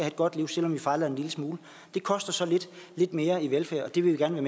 et godt liv selv om vi fejler en lille smule det koster så lidt mere til velfærd og det vil vi gerne